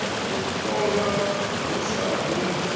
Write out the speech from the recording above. u ṱolwa hu sa gumi